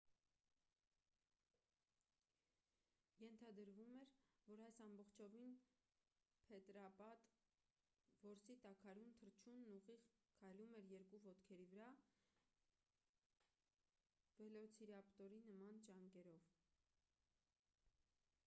ենթադրվում էր որ այս ամբողջովին փետրապատ որսի տաքարյուն թռչունն ուղիղ քայլում էր երկու ոտքերի վրա վելոցիրապտորի նման ճանկերով